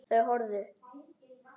Þau horfðu.